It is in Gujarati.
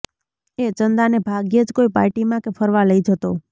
એ ચંદાને ભાગ્યે જ કોઈ પાર્ટીમાં કે ફરવા લઈ જતો